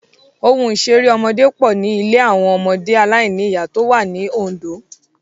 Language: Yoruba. Ohun ìṣeré ọmọdé pọ̀ ní ilé àwọn ọmọ aláìníyà tó wà ní Ondo.